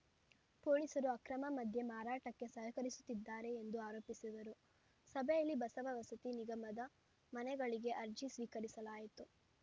ಫೋಲೀಸರು ಅಕ್ರಮ ಮದ್ಯ ಮಾರಾಟಕ್ಕೆ ಸಹಕರಿಸುತ್ತಿದ್ದಾರೆ ಎಂದು ಆರೋಪಿಸಿದರು ಸಭೆಯಲ್ಲಿ ಬಸವ ವಸತಿ ನಿಗಮದ ಮನೆಗಳಿಗೆ ಅರ್ಜಿ ಸ್ವೀಕರಿಸಲಾಯಿತು